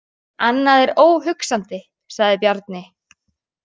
Annað er óhugsandi, sagði Bjarni.